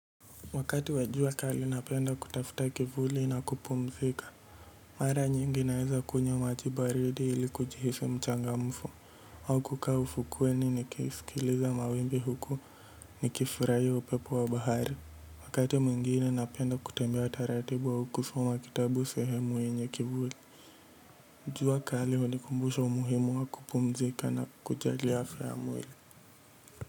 Wakati wa jua kali napenda kutafuta kivuli na kupumzika mara nyingi naweza kunywa maji baridi ili kujihisi mchangamfu au kukaa ufukweni nikisikiliza mawimbi huku nikifurahia upepo wa bahari. Wakati mwingine napenda kutembea taratibu au kusoma kitabu sehemu yenye kivuli. Jua kali hunikumbusha umuhimu wa kupumzika na kujali afya ya mwili.